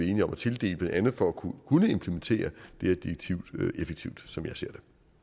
enige om at tildele blandt andet for at kunne implementere det her direktiv effektivt som jeg ser